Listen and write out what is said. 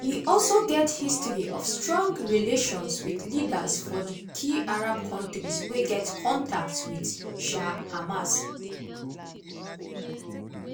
e also get history of strong relations wit leaders for di key arab countries wey get contacts wit um hamas.